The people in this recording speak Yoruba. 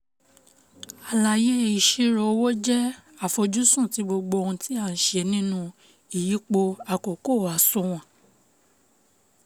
àlàyé ìṣirò owó jẹ́ àfojúsùn ti gbogbo ohun tí a n se nínú ìyípo àkókò àsùnwọ̀n